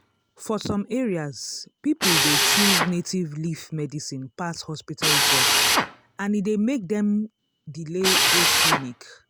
for some areas people dey choose native leaf medicine pass hospital drug and e dey make dem delay go clinic.